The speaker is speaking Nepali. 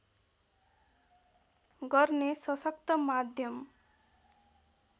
गर्ने सशक्त माध्यम